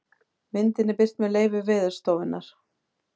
myndin er birt með leyfi veðurstofunnar